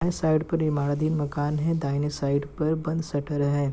ए side पर इमारदी मकान है दाहिने साइड पर बंद शटर है।